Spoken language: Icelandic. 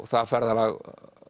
það ferðalag